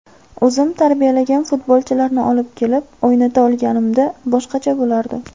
O‘zim tarbiyalagan futbolchilarni olib kelib o‘ynata olganimda boshqacha bo‘lardi.